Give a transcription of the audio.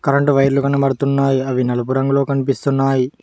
రెండు వైర్లు కనబడుతున్నాయి అవి నలుపు రంగులో కనిపిస్తున్నాయి.